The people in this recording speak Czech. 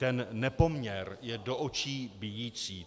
Ten nepoměr je do očí bijící.